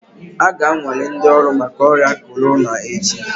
A ga-anwale ndị ọrụ maka ọrịa corona echi